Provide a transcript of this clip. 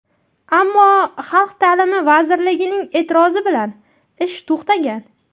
Ammo Xalq ta’limi vazirligining e’tirozi bilan ish to‘xtagan.